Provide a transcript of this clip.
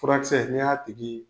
Furakisɛ ni y'a tigi